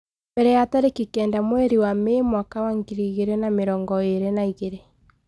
mbere ya tarĩki kenda mweri wa Mĩĩ mwaka wa ngiri igĩrĩ na mĩrongo ĩrĩ na igĩrĩ .